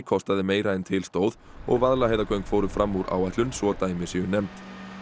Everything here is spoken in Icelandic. kostaði meira en til stóð og Vaðlaheiðargöng fóru fram úr áætlun svo dæmi séu nefnd